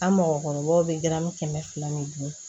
An mɔgɔkɔrɔbaw bɛ gari kɛmɛ fila ni bi duuru